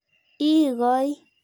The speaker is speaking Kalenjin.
Ii koi.